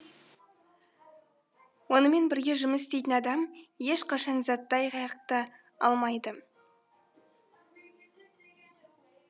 онымен бірге жұмыс істейтін адам ешқашан заттай айғақты алмайды